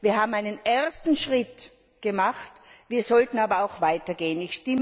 Wir haben einen ersten Schritt gemacht, wir sollten aber auch weiter gehen.